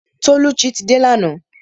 Tolucci ti dé lana